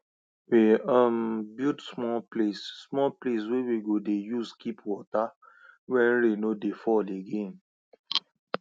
we um build small place small place wey we go dey use keep water when rain no dey fall again